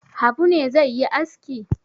Habu ne zai yi aski?